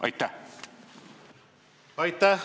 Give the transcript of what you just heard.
Aitäh!